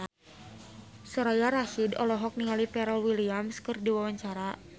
Soraya Rasyid olohok ningali Pharrell Williams keur diwawancara